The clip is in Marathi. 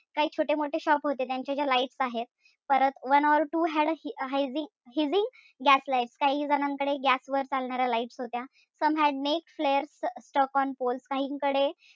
काई छोटे मोठे shops होते त्यांचे जे lights आहेत. परत one or two had hazy hizzy gas light काही जणांकडे gas वर चालणाऱ्या lights होत्या. Some had naked flares stuck on poles.